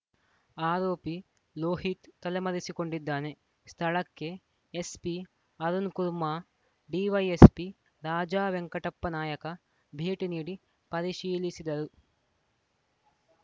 ಆರೋಪಿ ಲೋಹಿತ್‌ ತಲೆಮರೆಸಿಕೊಂಡಿದ್ದಾನೆ ಸ್ಥಳಕ್ಕೆ ಎಸ್‌ಪಿ ಅರುಣ್‌ ಕುರ್ಮ ಡಿವೈಎಸ್‌ಪಿ ರಾಜಾ ವೆಂಕಟಪ್ಪನಾಯಕ ಭೇಟಿ ನೀಡಿ ಪರಿಶೀಲಿಸಿದರು